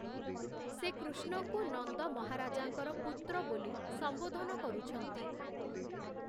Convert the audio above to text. ସେ କୃଷ୍ଣଙ୍କୁ ନନ୍ଦ ମହାରାଜାଙ୍କର ପୁତ୍ର ବୋଲି ସମ୍ଵୋଧନ କରୁଛନ୍ତି ।